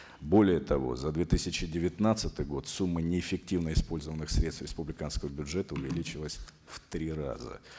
более того за две тысячи девятнадцатый год сумма неэффективно использованных средств республиканского бюджета увеличилась в три раза